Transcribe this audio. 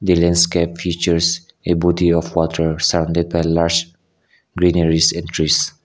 the landscape features a body of water surrounded by lush greeneries and trees.